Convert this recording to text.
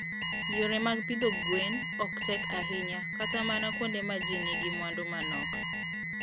Yore mag pidho gwen ok tek ahinya kata mana kuonde ma ji nigi mwandu manok.